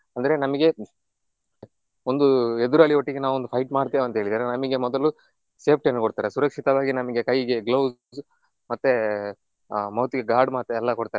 ಅಂದ್ರೆ ನಮಿಗೆ ಒಂದು ಎದುರಲ್ಲಿ ಒಟ್ಟಿಗೆ ನಾವು ಒಂದು fight ಮಾಡ್ತೇವೆ ಅಂತ ಹೇಳಿದ್ರೆ ನಮಿಗೆ ಮೊದಲು safety ಅನ್ನ ಕೊಡ್ತಾರೆ ಸುರಕ್ಷಿತವಾಗಿ ನಮ್ಗೆ ಕೈಗೆ gloves ಮತ್ತೆ mouth ಇಗೆ guard ಮತ್ತೆ ಎಲ್ಲ ಕೊಡ್ತಾರೆ.